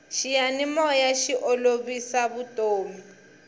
xiyanimoya xi olovisa vutomi